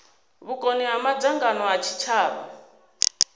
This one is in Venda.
vhukoni ha madzangano a tshitshavha